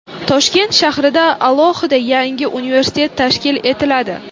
Toshkent shahrida alohida yangi universitet tashkil etiladi.